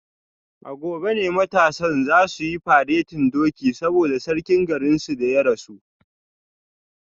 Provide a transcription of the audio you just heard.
A gobe ne matasan za su yi faretin doki saboda sarkin garinsu da ya rasu